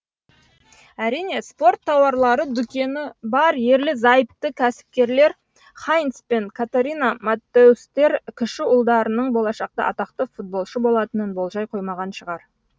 әрине спорт тауарлары дүкені бар ерлі зайыпты кәсіпкерлер хайнц пен катарина маттеустер кіші ұлдарының болашақта атақты футболшы болатынын болжай қоймаған шығар